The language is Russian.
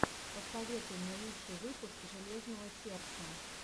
посоветуй мне лучший выпуск железного сердца